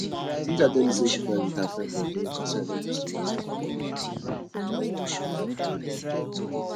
cynthia tell me say she fight with her friend but dey reconcile almost immediately